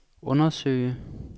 undersøge